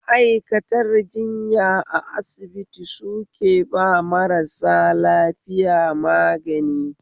Ma'aikatanr jinya a asibiti suke ba marasa lafiya magani